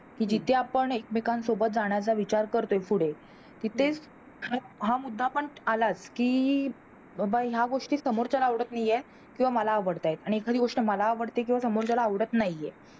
कि जिथे आपण एकमेकांसोबत जाण्याचा विचार करतो पुढे तिथेच हा मुद्दा पण आलाच कि ह्या गोष्टी समोरच्याला आवडत नाई हे किंवा मला आवडता हे आणि एखादी गोष्ट मला आवडते किंवा समोरच्या ल आवडत नाहीहे